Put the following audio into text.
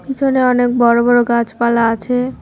পিছনে অনেক বড়ো বড়ো গাছপালা আছে।